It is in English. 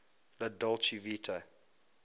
la dolce vita